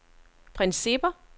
principper